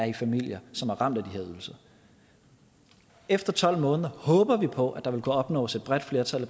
i familier som er ramt af de her ydelser efter tolv måneder håber vi på at der vil kunne opnås et bredt flertal